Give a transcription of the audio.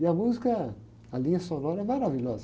E a música, a linha sonora é maravilhosa.